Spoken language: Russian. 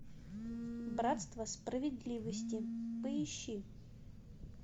братство справедливости поищи